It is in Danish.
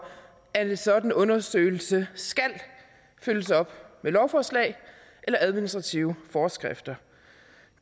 at en sådan undersøgelse skal følges op med lovforslag eller administrative forskrifter